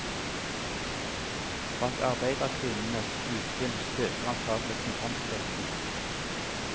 Bak arbeiderkvinnenes utspill spøker antagelig kontantstøtten.